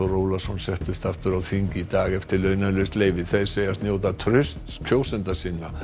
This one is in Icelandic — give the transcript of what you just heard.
Ólason settust aftur á þing í dag eftir launalaust leyfi þeir segjast njóta trausts kjósenda sinna